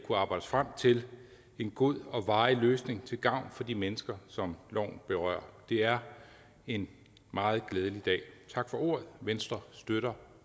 os frem til en god og varig løsning til gavn for de mennesker som loven berører det er en meget glædelig dag tak for ordet venstre støtter